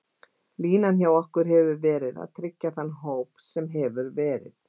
Línan hjá okkur hefur verið að tryggja þann hóp sem hefur verið.